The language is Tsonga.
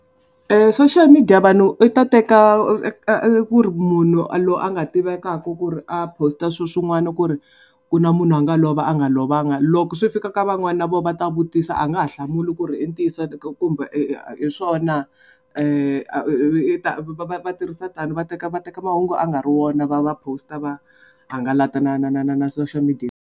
Soshiyal midiya vanhu yi ta teka ku ri munhu a loyi a nga tivekaka ku ri a post-a swilo swin'wana ku ri, ku na munhu a nga lova a nga lovanga loko swi fika ka van'wana na voho va ta vutisa a nga ha hlamuli ku ri intiyiso kumbe hi swoho na va tirhisa tani va teka va teka mahungu a nga ri wona va ma post-a va hangalata na na na na na soshiyal midiya.